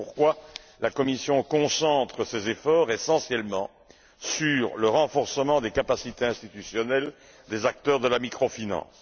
C'est pourquoi, la Commission concentre ses efforts essentiellement sur le renforcement des capacités institutionnelles des acteurs de la micro finance.